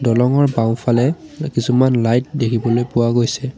দলংঙৰ বাওঁফালে কিছুমান লাইট দেখিবলৈ পোৱা গৈছে।